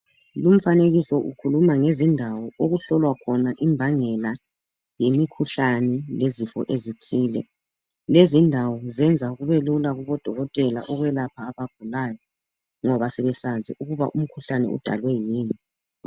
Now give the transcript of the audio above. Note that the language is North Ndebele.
Lumfanekiso ukhuluma ngezindawo okuhlolwa khona imbangela yemikhuhlane lezifo ezithile. Lezindawo zenzq kubelula kubodokotela ukwelapha abagulayo ngoba sebesazi ukuba umkhuhlane udalwe yini.